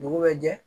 Dugu bɛ jɛ